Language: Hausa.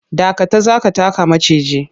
Dakata! za ka taka maciji.